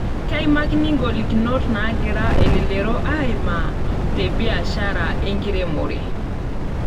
Keimakini ngolikinot naagira elelero aimaa tebiashara enkiremore.